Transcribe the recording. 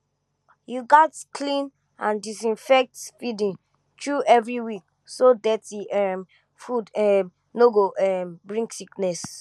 you gats clean and disinfect feeding trough every week so dirty um food um no go um bring sickness